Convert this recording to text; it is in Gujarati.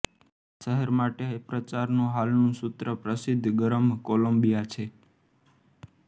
શહેર માટે પ્રચારનું હાલનું સૂત્ર પ્રસિદ્ધ ગરમ કોલંબિયા છે